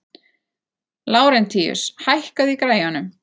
Lárentíus, hækkaðu í græjunum.